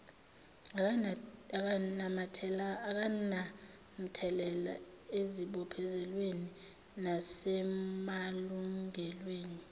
akunamthelela ezibophezelweni nasemalungelweni